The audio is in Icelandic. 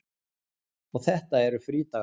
Og þetta eru frídagar.